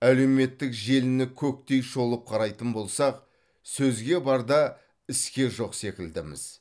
әлеуметтік желіні көктей шолып қарайтын болсақ сөзге бар да іске жоқ секілдіміз